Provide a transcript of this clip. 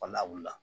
Walawuli la